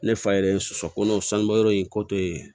Ne fa yɛrɛ ye soso ko n'o sanubɔyɔrɔ in kɔ ye